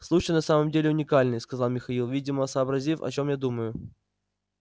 случай на самом деле уникальный сказал михаил видимо сообразив о чём я думаю